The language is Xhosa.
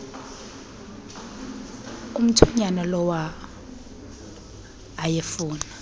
omthonyama lawa ayefuna